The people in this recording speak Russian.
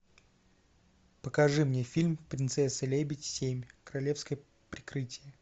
покажи мне фильм принцесса лебедь семь королевское прикрытие